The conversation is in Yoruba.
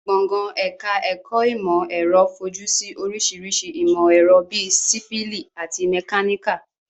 Gbọ̀ngàn ẹ̀ka ẹ̀kọ́ ìmọ̀ ẹ̀rọ fojú sí oríṣiríṣi ìmọ̀ ẹ̀rọ bíi sífíìlì àti mẹkáníkà